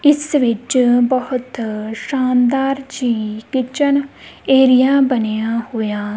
ਇਸ ਵਿੱਚ ਬਹੁਤ ਸ਼ਾਨਦਾਰ ਜੀ ਕਿਚਨ ਏਰੀਆ ਬਣਿਆ ਹੋਇਆ--